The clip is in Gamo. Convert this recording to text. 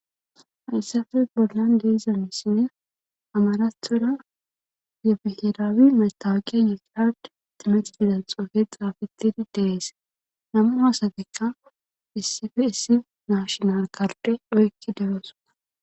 hayssafe bollan deezanisinne amarathora yefihiraawi maytawuqiya yeqiad timexi didan xoofe xaafetidi dees namu hasatekka issife issi nashonal karde oykki degoosoda